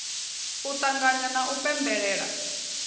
u ṱanganya na u pembelela